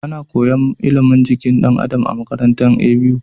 Ana koyan ilimin jikin dan Adam a makarantar ABU